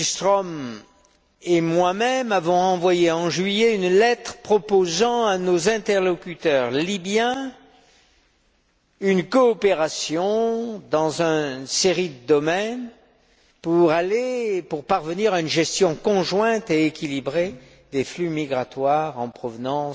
M. Billström et moi même avons envoyé, en juillet, une lettre proposant à nos interlocuteurs libyens une coopération dans une série de domaines pour parvenir à une gestion conjointe et équilibrée des flux migratoires en provenance